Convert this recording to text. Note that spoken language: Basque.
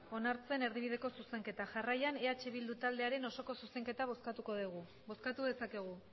onartzen erdibideko zuzenketa jarraian eh bildu taldearen osoko zuzenketa bozkatuko dugu bozkatu dezakegu